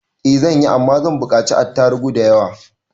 I zanyi, Amma zan bukaci attarubu da yawa.